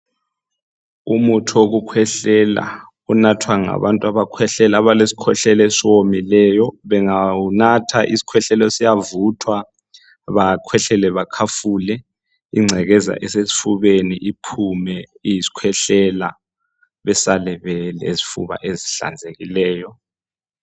Umuthi wokukhwehlela onathwa ngabantu abakhwehlelo abale skhwehlelo esomileyo bangawunatha isikhwehlele siyavuthwa bakhwehlele bakhafule ingcekeza esesifubeni iphume iyisikhwehlela besale belezifuba ezihlanzekileyo.